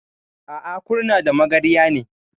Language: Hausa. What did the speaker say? A'a, Kurna da Magarya ne.